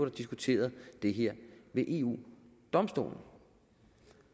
diskuteret det her ved eu domstolen